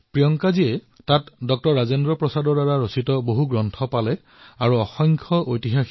প্ৰিয়ংকাজীয়ে তাত ডাঃ ৰাজেন্দ্ৰ প্ৰসাদৰ দ্বাৰা ৰচিত বহু গ্ৰন্থ লাভ কৰিলেঅনেক ঐতিহাসিক ছবি দেখা পালে